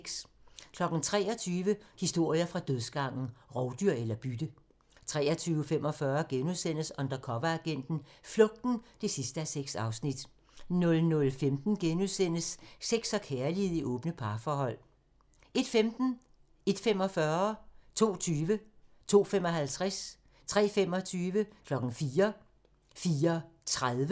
23:00: Historier fra dødsgangen – Rovdyr eller bytte? 23:45: Undercoveragenten - Flugten (6:6)* 00:15: Sex og kærlighed i åbne parforhold * 01:15: Deadline 01:45: Deadline * 02:20: Deadline * 02:55: Deadline * 03:25: Deadline * 04:00: Deadline * 04:30: Deadline *